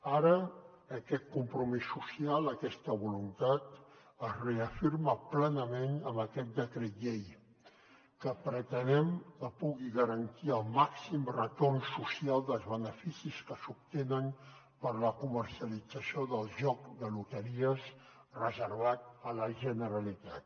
ara aquest compromís social aquesta voluntat es reafirma plenament amb aquest decret llei que pretenem que pugui garantir el màxim retorn social dels beneficis que s’obtenen per la comercialització del joc de loteries reservat a la generalitat